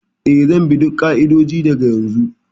Ee, zan bi duk ƙa'idodi daga yanzu daga yanzu.